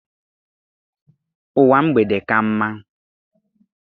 Ụwa mgbede ka mma.